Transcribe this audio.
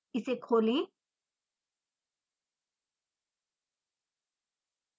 इसे खोलें